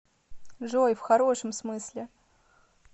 джой в хорошем смысле